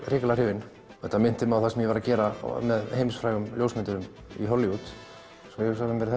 hrikalega hrifinn þetta minnti mig á það sem ég var að gera með heimsfrægum ljósmyndurum í Hollywood og hugsaði með mér